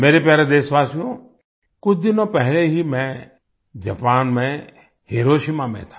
मेरे प्यारे देशवासियो कुछ दिन पहले ही मैं जापान में हिरोशिमा में था